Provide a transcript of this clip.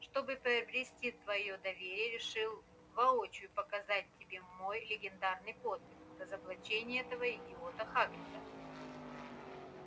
чтобы приобрести твоё доверие решил воочию показать тебе мой легендарный подвиг разоблачение этого идиота хагрида